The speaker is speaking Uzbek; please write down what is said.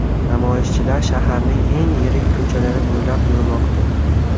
Namoyishchilar shaharning eng yirik ko‘chalari bo‘ylab yurmoqda.